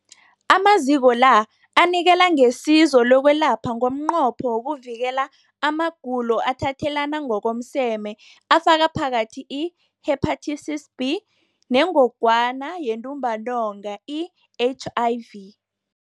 Amaziko la anikela ngesizo lokwelapha ngomnqopho wokuvikela amagulo athathelana ngokomseme afaka phakathi i-Hepatitis B neNgogwana yeNtumbantonga, i-HIV.